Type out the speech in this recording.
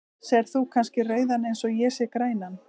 Sérð þú kannski rauðan eins og ég sé grænan?